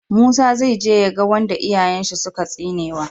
Musa zai je ya ga wanda iyayen shi suka tsinewa